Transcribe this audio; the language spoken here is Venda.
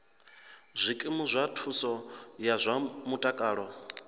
zwikimu zwa thuso ya zwa mutakalo